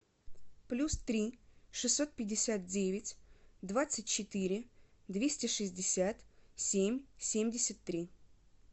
плюс три шестьсот пятьдесят девять двадцать четыре двести шестьдесят семь семьдесят три